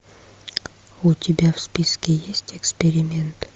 у тебя в списке есть эксперимент